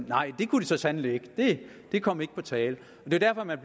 nej det kunne de så sandelig ikke det kom ikke på tale det er derfor man